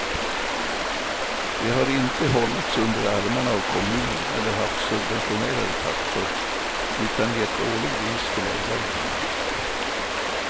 Det har inte hållits under armarna av kommunen eller haft subventionerade taxor, utan gett årlig vinst till ägaren.